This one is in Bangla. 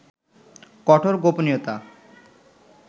কঠোর গোপনীয়তা